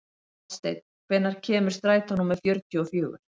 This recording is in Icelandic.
Oddsteinn, hvenær kemur strætó númer fjörutíu og fjögur?